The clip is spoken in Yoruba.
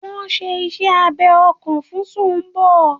Wọ́n n ṣe iṣẹ́ abẹ ọkàn fún Sumbo